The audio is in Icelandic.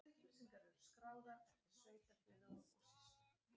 Upplýsingarnar eru skráðar eftir sveitarfélögum og sýslum.